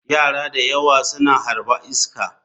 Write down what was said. Yara da yawa suna harba iska.